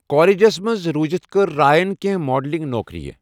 کالجس منٛز روزتھ کٔر رایَن کینٛہہ ماڈلنگ نوکرِیہِ۔